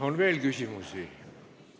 On veel küsimusi?